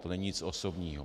To není nic osobního.